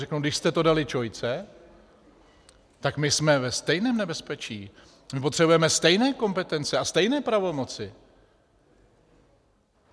Řeknou, když jste to dali ČOI, tak my jsme ve stejném nebezpečí, my potřebujeme stejné kompetence a stejné pravomoci.